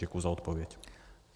Děkuji za odpověď.